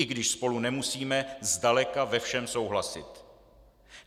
I když spolu nemusíme zdaleka ve všem souhlasit.